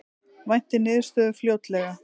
Væntir niðurstöðu fljótlega